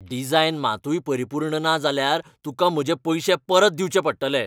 Design मातूय परिपूर्ण ना जाल्यार, तूंकां म्हजे पयशे परत दिवंचे पडटले.